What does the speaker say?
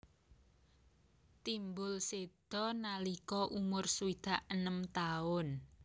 Timbul séda nalika umur swidak enem taun